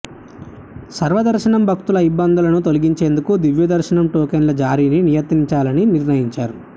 సర్వదర్శనం భక్తుల ఇబ్బందులను తొలగించేందుకు దివ్యదర్శనం టోకెన్ల జారీని నియంత్రించాలని నిర్ణయించారు